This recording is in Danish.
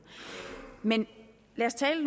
men lad os tale